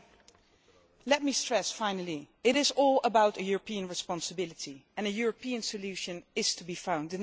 Finally, let me stress that it is all about European responsibility, and a European solution is to be found.